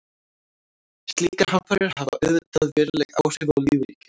Slíkar hamfarir hafa auðvitað veruleg áhrif á lífríkið.